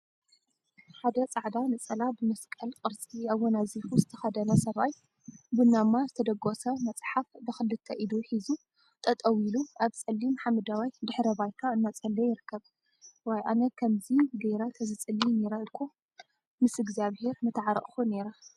ሓደ ፃዕዳ ነፀላ ብመስቀል ቅርፂ አወናዚፉ ዝተከደነ ሰብአይ ቡናማ ዝተደጎሰ መፅሓፍ ብክልተ ኢዱ ሒዙ ጠጠው ኢሉ አብ ፀሊም ሓመደዋይ ድሕረ ባይታ እናፀለየ ይርከብ፡፡ ዋይ አነ ከምዚ ገይረ ተዝፅልይ ነይረ እኮ ምስ እግዚአብሄር ምተዓረቁ ነይረ፡፡